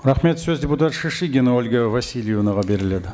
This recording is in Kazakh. рахмет сөз депутат шишигина ольга васильевнаға беріледі